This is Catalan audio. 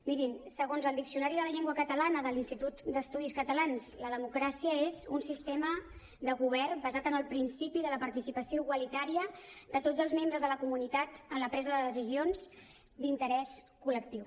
miri segons el diccionari de la llengua catalana de l’institut d’estudis catalans la democràcia és un sistema de govern basat en el principi de la participació igualitària de tots els membres de la comunitat en la presa de decisions d’interès collectiu